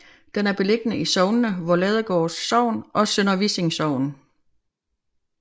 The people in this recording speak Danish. Den er beliggende i sognene Voerladegård Sogn og Sønder Vissing Sogn